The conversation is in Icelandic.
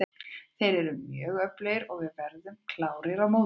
Þeir eru mjög öflugir og við verðum klárir á móti þeim.